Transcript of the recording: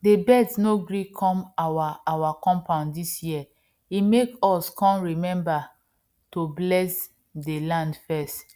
dey birds no gree come our our compound dis year e make us come remember to bless dey land first